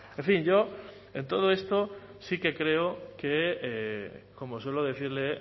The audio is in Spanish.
en fin yo en todo esto sí que creo que como suelo decirle